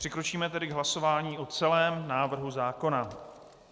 Přikročíme tedy k hlasování o celém návrhu zákona.